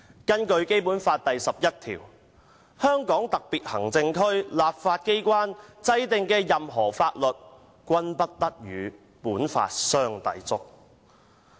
根據《基本法》第十一條："香港特別行政區立法機關制定的任何法律，均不得同本法相抵觸。